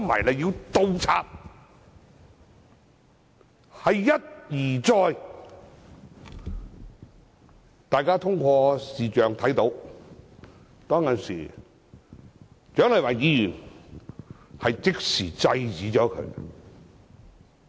大家從視像錄影看到，當時蔣麗芸議員即時制止他。